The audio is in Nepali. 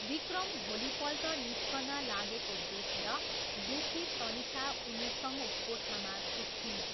विक्रम भोलिपल्ट निस्कन लागेको देखेर दुखी तनिषा उनीसँगै कोठामा सुत्छिन्।